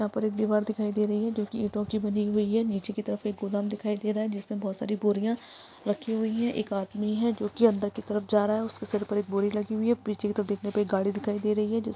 यहाँ पर एक दीवार दिखाई दे रही है जो कि ईटों की बनी हुई है नीचे की तरफ एक गोदाम दिखाई दे रहा है जिसमें बहुत सारी बोरिया रखी हुई है। एक आदमी है जो कि अंदर की तरफ जा रहा है उसके सिर पर एक बोरी लगी हुई है पीछे की तरफ देखने पे एक गाडी दिखाई दे रही है।